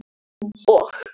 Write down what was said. og